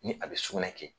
Ni a bɛ sugunɛ kɛ